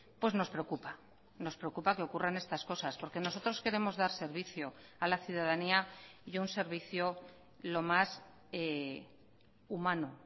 pues nos preocupa nos preocupa que ocurran estas cosas porque nosotros queremos dar servicio a la ciudadanía y un servicio lo más humano